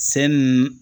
Sen n